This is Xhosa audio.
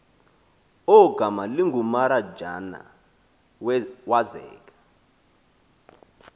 ogama lingumaranjana wazeka